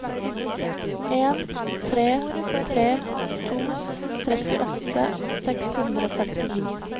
en tre tre to trettiåtte seks hundre og femtini